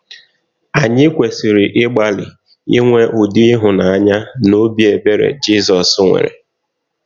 Anyị kwesịrị ịgbalị inwe ụdị ịhụnanya na ọbi ebere Jizọs nwere.